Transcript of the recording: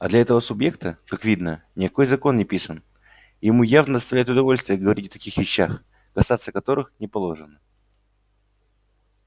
а для этого субъекта как видно никакой закон не писан и ему явно доставляет удовольствие говорить о таких вещах касаться которых не положено